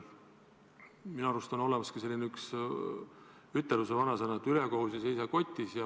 Minu arust on olemas vanasõna, et ülekohus ei seisa kotis.